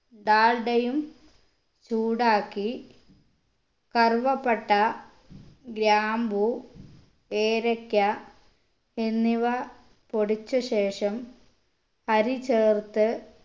ഡാൽഡയും ചൂടാക്കി കറുവപ്പട്ട ഗ്രാമ്പു ഏലക്ക എന്നിവ പൊടിച്ച ശേഷം അരി ചേർത്ത്